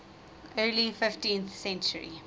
early fifteenth century